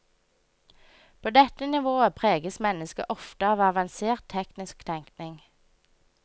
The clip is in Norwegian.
På dette nivået preges mennesket ofte av avansert teknisk tenkning.